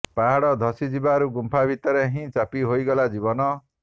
ପାହାଡ଼ ଧସି ଯିବାରୁ ଗୁମ୍ପା ଭିତରେ ହିଁ ଚାପି ହୋଇଗଲା ଜୀବନ